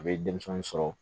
A bɛ denmisɛnnin sɔrɔ